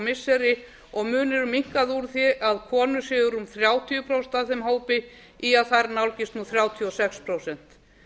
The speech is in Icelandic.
missiri og munurinn minnkað úr því að konur séu rúm þrjátíu prósent af þeim hópi í að þær nálgist nú þrjátíu og sex prósent